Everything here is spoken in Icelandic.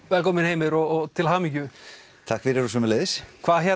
velkominn Heimir og til hamingju takk fyrir og sömuleiðis